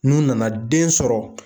N'u nana den sɔrɔ